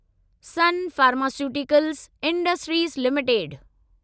sun pharmaceuticals industries limited